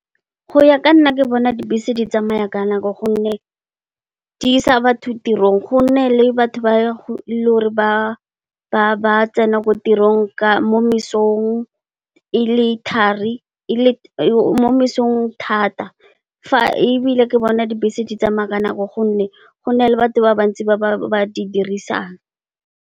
Go ya ka nna, ke bona dibese di tsamaya ka nako gonne, di isa batho tirong gonne, le batho ba tsena ko tirong mo mosong thata. Fa ebile ke bona dibese di tsamaya ka nako gonne, gona le batho ba bantsi ba ba di dirisang.